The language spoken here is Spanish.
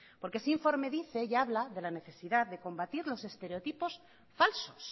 porque ese informe dice y habla de la necesidad de combatir los estereotipos falsos